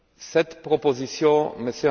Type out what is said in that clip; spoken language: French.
Cette proposition, M.